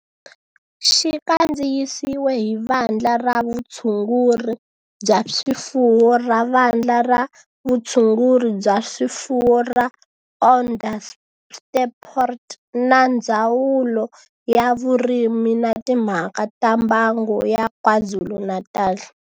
Xi kandziyisiwe hi Vandla ra Vutshunguri bya swifuwo ra Vandla ra Vutshunguri bya swifuwo ra Onderstepoort na Ndzawulo ya Vurimi na Timhaka ta Mbango ya KwaZulu-Natal